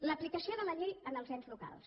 l’aplicació de la llei en els ens locals